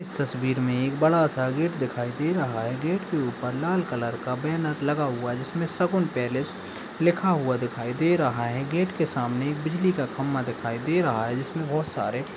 इस तस्वीर में एक बड़ा सा गेट दिखाई दे रहा है। गेट के ऊपर लाल कलर का बैनर लगा हुआ है जिसमे शगुन पैलेस लिखा हुआ दिखाई दे रहा है। गेट के सामने एक बिजली का खंबा दिखाई दे रहा है जिसमे बोहोत सारे --